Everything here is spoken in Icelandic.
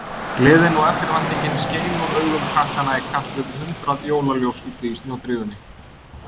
Gleðin og eftirvæntingin skein úr augum krakkanna í kapp við hundrað jólaljós úti í snjódrífunni.